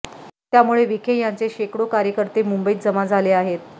त्यामुळे विखे यांचे शेकडो कार्यकर्ते मुंबईत जमा झाले आहेत